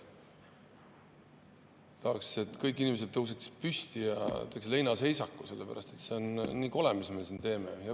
Tahaks, et kõik inimesed tõuseks püsti ja teeks leinaseisaku, sest see on nii kole, mis me siin teeme.